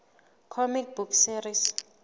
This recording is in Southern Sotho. comic book series